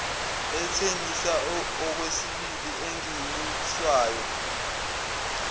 ethengiswa okwesibili engeniswayo